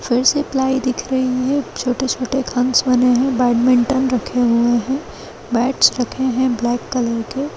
फिर से प्लाई दिख रही है छोटे-छोटे खन्स बने हुए है बैटमिंटन रखे हुए है बेटस रखे हुए है ब्लैक कलर के--